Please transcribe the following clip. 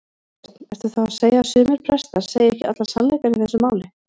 Björn: Ertu þá að segja að sumir prestar segir ekki allan sannleikann í þessu máli?